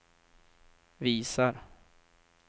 visar